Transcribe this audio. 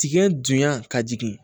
Tigɛn dunya ka jigin